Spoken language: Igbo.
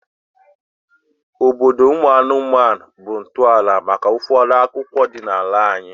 Obodo ụmụ anụmanụ bụ ntọala maka ụfọdụ akụkọ ọdịnala anyị